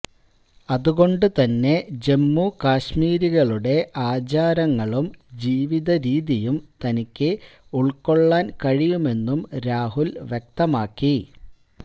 അതുകൊണ്ട് തന്നെ ജമ്മുകാശ്മീരികളുടെ ആചാരങ്ങളും ജീവിതരീതിയും തനിക്ക് ഉള്ക്കൊള്ളാന് കഴിയുമെന്നും രാഹുല് വ്യക്തമാക്കി